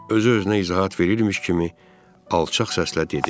Özü-özünə izahat verirmiş kimi alçaq səslə dedi.